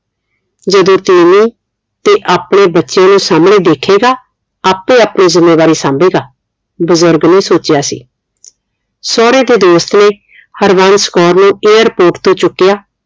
ਜਦੋ ਤੀਵੀਂ ਤੇ ਆਪਣੇ ਬੱਚਿਆਂ ਨੂੰ ਸਾਹਮਣੇ ਦੇਖੇਗਾ ਆਪੇ ਆਪਣੀ ਜ਼ਿਮੇਵਾਰੀ ਸਾਹਮਬੇਗਾ ਬੁਜ਼ਰਗ ਨੇ ਸੋਚਿਆ ਸੀ ਸੋਹਰੇ ਦੇ ਦੋਸਤ ਨੇ ਹਰਬੰਸ ਕੌਰ ਨੂੰ airport ਤੋਂ ਚੁੱਕਿਆ